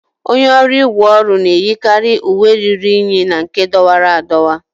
Onye ọrụ ígwè ọrụ na-eyikarị uwe ruru unyi na nke dọwara adọwa.